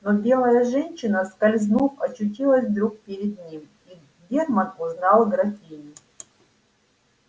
но белая женщина скользнув очутилась вдруг перед ним и германн узнал графиню